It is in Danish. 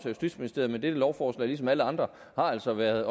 justitsministeriet men dette lovforslag har ligesom alle andre andre været